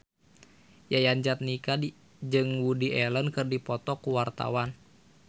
Yayan Jatnika jeung Woody Allen keur dipoto ku wartawan